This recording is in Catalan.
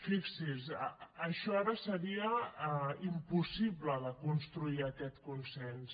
fixi’s això ara seria impossible de construir aquest consens